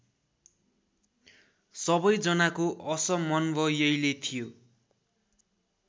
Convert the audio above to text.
सबैजनाको असमन्वयैले थियो